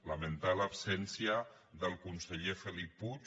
lamentar l’absència del conseller felip puig